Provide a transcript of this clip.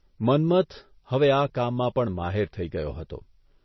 મન્મથ હવે આ કામમાં પણ માહેર થઇ ગયો હતો.